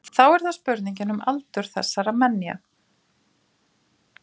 þá er það spurningin um aldur þessara menja